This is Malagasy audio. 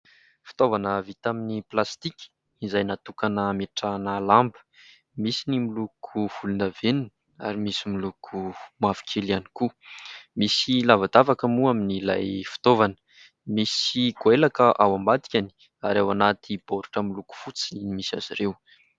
Fitaovana vita amin'ny plastika izay natokana hametrahana lamba. Misy ny miloko volondavenona ary misy miloko mavokely ihany koa. Misy lavadavaka moa amin'ilay fitaovana. Misy goelaka ao ambadikany ary ao anaty baoritra miloko fotsy ny misy azy ireo.